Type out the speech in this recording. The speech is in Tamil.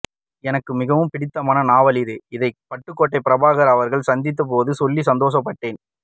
எனக்கு மிகவும் பிடித்தமான நாவல் இது இதை பட்டுகோட்டை பிரபாகர் அவர்களை சந்தித்த போது சொல்லி சந்தோசபட்டேன்